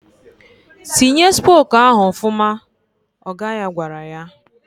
"Tinye spok ahụ ọfụma!" ọga ya gwara ya.